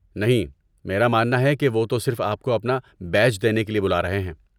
نہیں، میرا ماننا ہے کہ وہ تو صرف آپ کو اپنا بیج دینے کے لیے بلا رہے ہیں۔